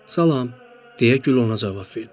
Salam, deyə gül ona cavab verdi.